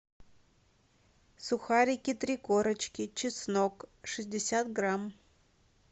сухарики три корочки чеснок шестьдесят грамм